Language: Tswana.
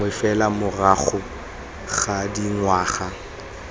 gangwe fela morago ga dingwaga